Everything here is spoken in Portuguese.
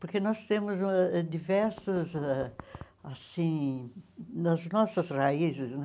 Porque nós temos ãh diversas ãh, assim, nas nossas raízes, né?